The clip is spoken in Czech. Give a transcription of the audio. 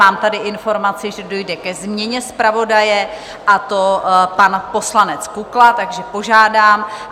Mám tady informaci, že dojde ke změně zpravodaje, a to pan poslanec Kukla, takže požádám.